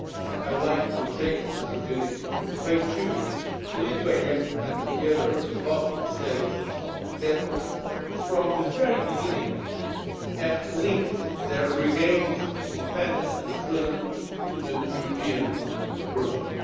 I would like to take this opportunity to pay tribute to Lithuania and the other Baltic states which, from the very beginning, have linked their regained independence and freedom to the European project.